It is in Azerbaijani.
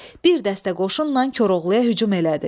Bir dəstə qoşunla Koroğluya hücum elədi.